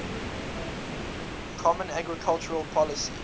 common agricultural policy